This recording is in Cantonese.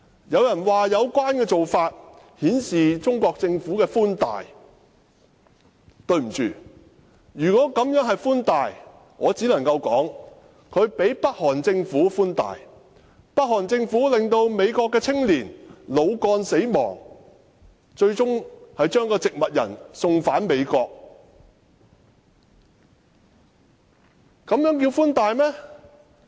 有人說有關做法顯示中國政府的寬大；對不起，如果這樣做是寬大，我只能說中國比北韓政府寬大，因為北韓政府令一名美國青年腦幹死亡，最終把一個植物人送返美國。